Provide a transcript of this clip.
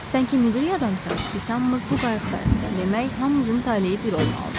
Sən ki müdrik adamsan, biz hamımız bu qayıqdayıq, demək hamımızın taleyi bir olmalıdır.